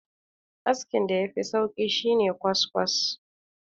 askin da ya Fi sauki shi ne kwaskwas